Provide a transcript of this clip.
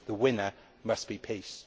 The winner must be peace.